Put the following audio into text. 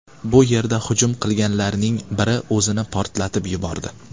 Bu yerda hujum qilganlarning biri o‘zini portlatib yubordi.